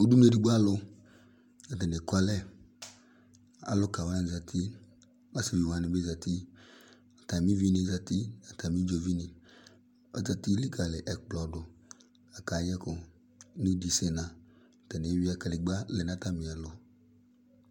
Udunu edigbo alʋ atani eku ɛlɛ Alʋkawani zati, asiviwani bi zati, atami uvini zati, atami idzovini akati li ɔkplɔ dʋ, akayɛ ɛkʋ n'idisena, atani eyuia kedegba lɛ n'atami ɛlʋ